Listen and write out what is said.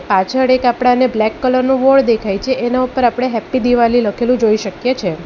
પાછળ એક આપડાને બ્લેક કલર નું બોર્ડ દેખાય છે એના ઉપર આપણે હેપ્પી દિવાલી લખેલું જોઈ શકીએ છે.